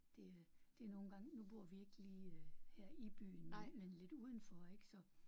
Det det er nogle gange nu bor vi ikke lige her i byen men men lidt udenfor ik så